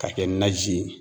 K'a kɛ naji ye